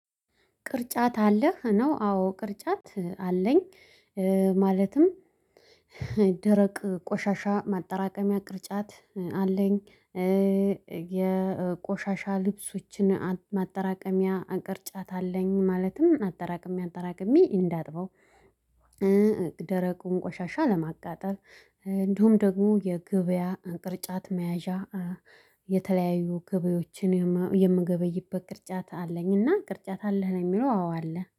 ቅርጫት አለህ ነው? አዎ ቅርጫት አለኝ። ማለትም ደረቅ ቆሻሻ ማጠራቀሚያ ቅርጫት አለኝ የቆሻሻ ልብሶችን ማጠራቀሚያ ቅርጫት አለኝ። ማለትም አጠራቅሜ አጠራቅሜ እንዳጥበው ደረቁን ቆሻሻ ለማቃጠል። እንደሁም ደግሞ የገበያ ቅርጫት መያዣ የተለያዩ ገበያዎችን የምገበይበት ቅርጫት አለኝ። እና ቅርጫት አለህ ነው የሚለው አዎ አለ